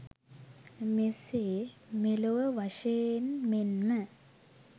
මෙසේ මෙලොව වශයෙන් මෙන්ම